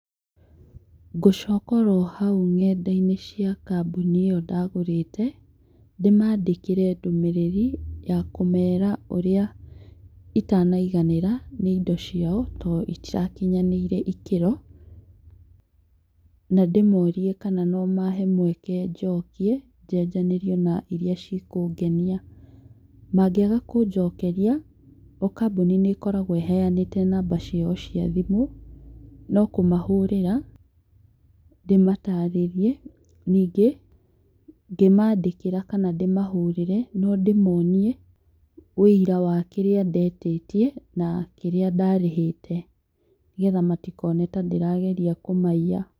Ngũcoka oro hau nenda-inĩ cia kambuni ĩyo ndagũrĩte ndĩmandĩkĩre ndũmĩrĩri ya kũmera ũrĩa itanaiganĩra nĩ indo ciao tondũ ĩtarakinyanĩirie ikĩro na ndĩmorie kana no mahe mweke njokie, njenjanĩrio na iria ci kũngenia, mangĩaga kũnjokeria o kambuni nĩ ĩkoragwo ehanĩte namba ciao cia thimũ no kũmahũrĩra ndĩmatarĩrie ningĩ ngĩmandĩkĩra kana ndĩmahũrĩre no ndĩmonie wũira wa kĩrĩa ndetie na kĩrĩa ndarĩhĩte nĩgetha matikone ta ndĩrageria kũmaiya.